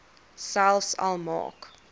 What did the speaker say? selfs al maak